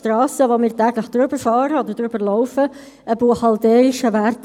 Dass dies mehr Zeit gebraucht hätte, war eigentlich eben klar.